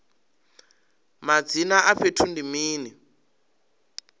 madzina a fhethu ndi mini